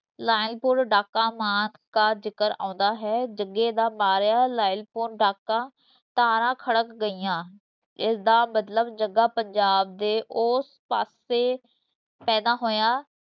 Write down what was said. ਲਾਇਲਪੁਰ ਡਾਕਾ ਮਾਰਨ ਦਾ ਜ਼ਿਕਰ ਆਉਂਦਾ ਹੈ, ਜੱਗੇ ਮਾਰਿਆ ਲਾਇਲਪੁਰ ਡਾਕਾ, ਤਾਰਾਂ ਖੜਕ ਗਈਆਂ, ਇਸ ਦਾ ਮਤਲਬ ਜੱਗਾ ਪੰਜਾਬ ਦੇ ਓਸ ਪਾਸੇ ਪੈਦਾ ਹੋਇਆ।